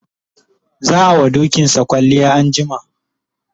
za'a wa dokinsa kwalliya anjima